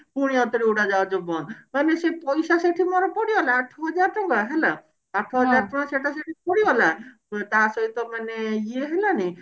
ପୁଣି ଆଉଥରେ ଉଡାଜାହାଜ ବନ୍ଦ ମାନେ ମୋର ସେ ପଇସା ସେଠି ମୋର ପଡିଗଲା ଆଠହଜାର ଟଙ୍କା ହେଲା ଆଠହଜରେ ଟଙ୍କା ସେଟା ସେଠି ମୋର ପଡିଲା ତା ସହିତ ମାନେ ଇଏ ହେଲାନି